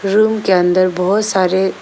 room के अंदर बहोत सारे--